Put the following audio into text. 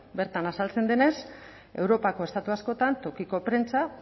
bertan azaltzen denez europako estatu askotan tokiko prentsa